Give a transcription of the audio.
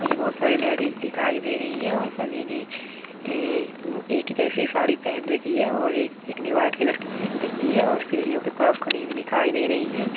मुझे बहुत सारी लेडीज दिखाई दे रही है और सभी ने ए एक जैसी साड़ी पेहेन रखी है और एक एक ने वाइट कलर की पेहेन रखी है और सीढ़ियों के पास खड़ी हुई दिखाई दे रही है।